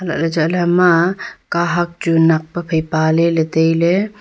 anlah ley hema kahak chu nakpe phai paley ley tailey.